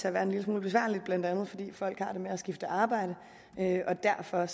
at være en lille smule besværligt blandt andet fordi folk har det med at skifte arbejde derfor